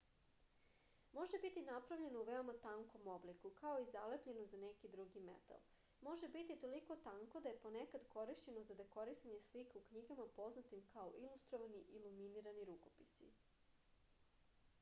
може бити направљено у веома танком облику као и залепљено за неки други метал. може бити толико танко да је понекад коришћено за декорисање слика у књигама познатим као илустровани илуминирани рукописи